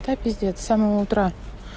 да пиздец самого утра